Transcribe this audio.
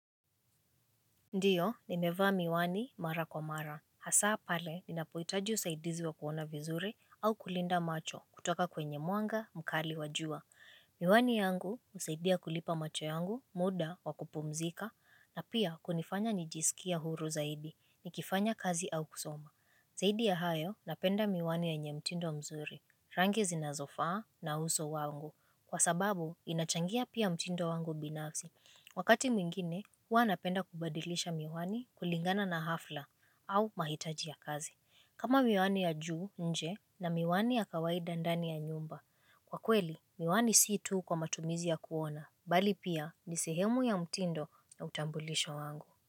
Ndio, nimevaa miwani mara kwa mara. Hasa pale ninapohitaji usaidizi wa kuona vizuri au kulinda macho kutoka kwenye mwanga mkali wa jua. Miwani yangu usaidia kulipa macho yangu, muda wa kupumzika, na pia kunifanya nijisikia huru zaidi, nikifanya kazi au kusoma. Zaidi ya hayo napenda miwani yenye mtindo mzuri, rangi zinazofaa na uso wangu. Kwa sababu, inachangia pia mtindo wangu binafsi. Wakati mwingine, huwa napenda kubadilisha miwani kulingana na hafla au mahitaji ya kazi. Kama miwani ya juu nje na miwani ya kawaida ndani ya nyumba. Kwa kweli, miwani si tu kwa matumizi ya kuona, bali pia ni sehemu ya mtindo na utambulisho wangu.